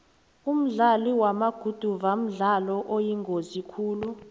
umdlalo wamaguduva mdlalo oyingozi khulu